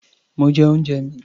Mo jẹ oúnjẹ mi.